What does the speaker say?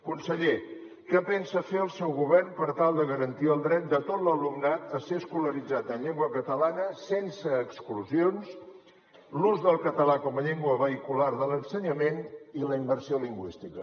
conseller què pensa fer el seu govern per tal de garantir el dret de tot l’alumnat a ser escolaritzat en llengua catalana sense exclusions l’ús del català com a llengua vehicular de l’ensenyament i la immersió lingüística